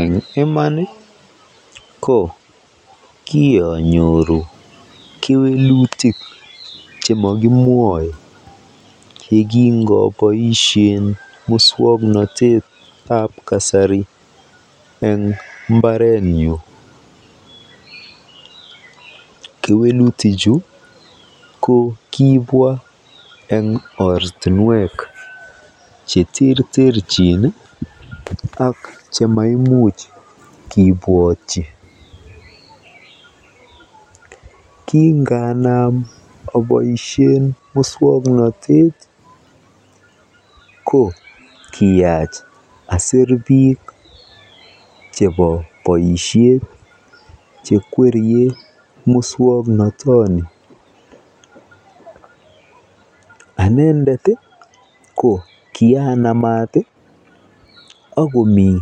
Eng' iman ko kianyoru kewelutik chemakimwoe yekingopoishe muswong'natet ab kasari eng' mbaret nyun kewelutik chu ko kipwa eng' oratinwek cheterterchin ak chemaimuch kepwotchi kinganam apoishen muswong'natet ko kiyach aser piik chepo boisiet chekwerie muswong'natoni anendet o ko kianamat akomii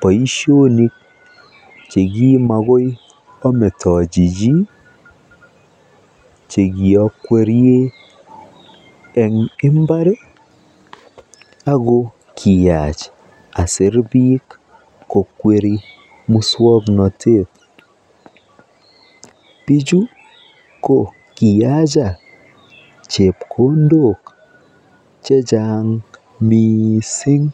boisionik chekimakoy ametochi chi chekiakwerie eng' imbar ako kiyach aser piik ko kweri muswong'natet pichu ko kiyacha chepkondok chechang' mising'.